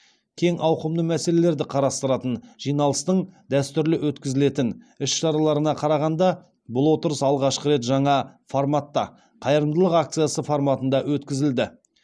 кең ауқымды мәселелерді қарастыратын жиналыстың дәстүрлі өткізілетін іс шараларына қарағанда бұл отырыс алғашқы рет жаңа форматта қайырымдылық акциясы форматында өткізілді